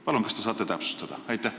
Palun, kas te saate täpsustada?